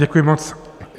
Děkuji moc.